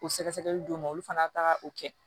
O sɛgɛsɛgɛli d'o ma olu fana taara o kɛ